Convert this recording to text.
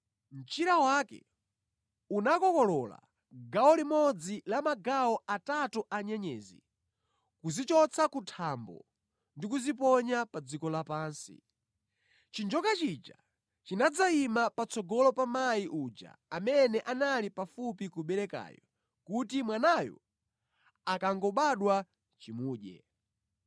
Mchira wake unakokolola gawo limodzi la magawo atatu a nyenyezi kuzichotsa ku thambo ndi kuziponya pa dziko lapansi. Chinjoka chija chinadzayima patsogolo pa mayi uja amene anali pafupi kuberekayu kuti mwanayo akangobadwa chimudye.